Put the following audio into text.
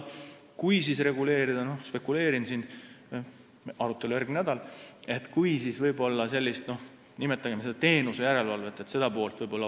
Kui reguleerida – praegu spekuleerin, sest arutelu on alles järgmisel nädalal –, siis võib-olla tasuks vaadata seda nn teenuste järelevalve poolt.